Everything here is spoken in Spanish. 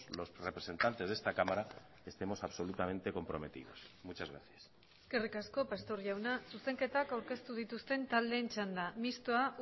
los representantes de esta cámara estemos absolutamente comprometidos muchas gracias eskerrik asko pastor jauna zuzenketak aurkeztu dituzten taldeen txanda mistoa